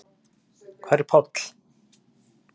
Hver er Páll?